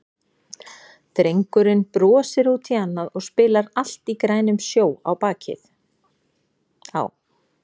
Drengurinn brosir út í annað og spilar Allt í grænum sjó á bakið á